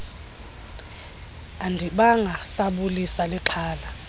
andibanga sabulisa lixhala